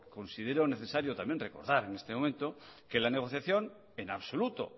considero necesario también recordar en este momento que la negociación en absoluto